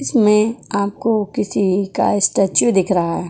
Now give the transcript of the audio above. इसमें आपको किसी का स्टेचू दिख रहा है।